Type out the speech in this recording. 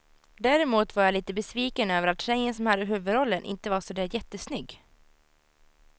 Däremot var jag lite besviken över att tjejen som hade huvudrollen inte var så där jättesnygg.